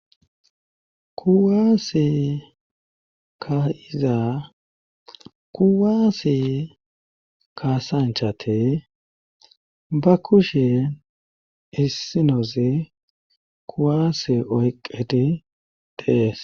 Kuwaase ka iza kuwaase kaasanchate ba kushe issinoze kuwaase oyqqeti dees.